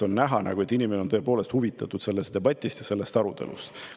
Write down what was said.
On näha, et inimene on tõepoolest huvitatud sellest debatist, sellest arutelust.